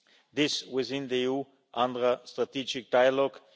This was in the EU UNRWA strategic dialogue.